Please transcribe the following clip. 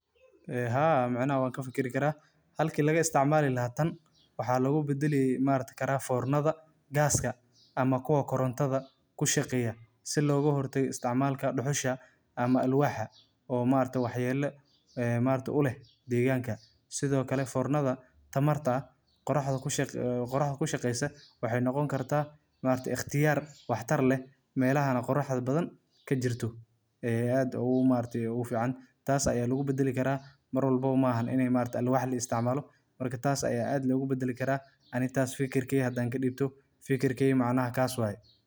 Karinta iyadoo la adeegsanayo alwaax dhuxul ah waa hab dhaqameed qadiimi ah oo Soomaalidu si weyn u isticmaasho, gaar ahaan xilliyada dabka lagu karsado hilibka, kalluunka, iyo cuntooyinka kale ee kala duwan. Marka hore, alwaax adag oo qallalan ayaa la shido si uu u gubo, taas oo soo saarta dhuxul kulul oo leh ur macaan oo dabiici ah. Habkani wuxuu cuntada siinayaa dhadhan gaar ah oo ka duwan karinta korontada.